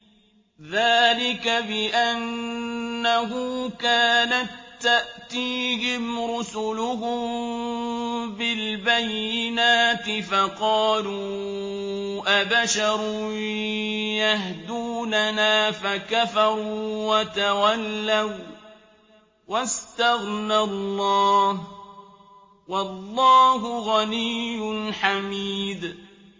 ذَٰلِكَ بِأَنَّهُ كَانَت تَّأْتِيهِمْ رُسُلُهُم بِالْبَيِّنَاتِ فَقَالُوا أَبَشَرٌ يَهْدُونَنَا فَكَفَرُوا وَتَوَلَّوا ۚ وَّاسْتَغْنَى اللَّهُ ۚ وَاللَّهُ غَنِيٌّ حَمِيدٌ